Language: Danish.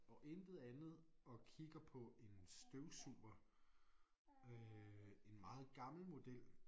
Og intet andet og kigger på en støvsuger øh en meget gammel model